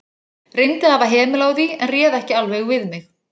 Reyndi að hafa hemil á því, en réð ekki alveg við mig.